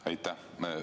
Aitäh!